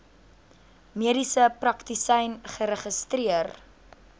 mediese praktisyn geregistreer